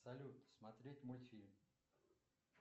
салют смотреть мультфильм